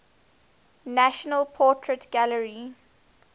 national portrait gallery